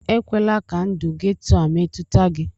Ekwela ka ndụ getoo a metụta gị!